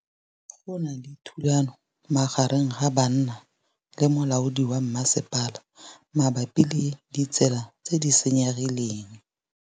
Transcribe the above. Go na le thulanô magareng ga banna le molaodi wa masepala mabapi le ditsela tse di senyegileng.